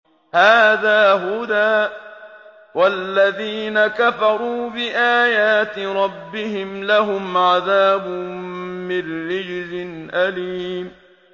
هَٰذَا هُدًى ۖ وَالَّذِينَ كَفَرُوا بِآيَاتِ رَبِّهِمْ لَهُمْ عَذَابٌ مِّن رِّجْزٍ أَلِيمٌ